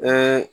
Bɛɛ